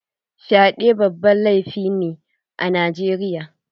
Fyaɗe babban laifi ne a Najeriya.